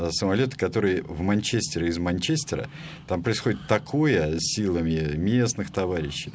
самолёт который в манчестере из манчестера там происходит такое силами местных товарищ